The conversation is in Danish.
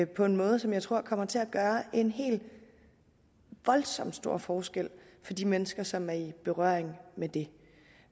på en måde som jeg tror kommer til at gøre en helt voldsom stor forskel for de mennesker som er i berøring med det